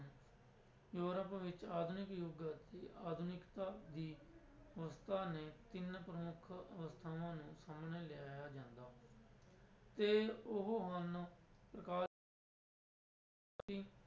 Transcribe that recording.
Europe ਵਿੱਚ ਆਧੁਨਿਕ ਯੁੱਗ ਤੇ ਆਧੁਨਿਕਤਾ ਦੀ ਨੇ ਤਿੰਨ ਪ੍ਰਮੁੱਖ ਅਵਸਥਾਵਾਂ ਨੂੰ ਸਾਹਮਣੇ ਲਿਆਇਆ ਜਾਂਦਾ ਤੇ ਉਹ ਹਨ